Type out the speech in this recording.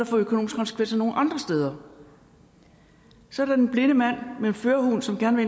få økonomiske konsekvenser nogen andre steder så er der den blinde mand med en førerhund som gerne